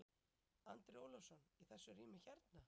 Andri Ólafsson: Í þessu rými hérna?